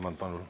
Palun!